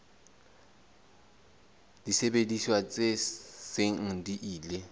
disebediswa tse seng di ile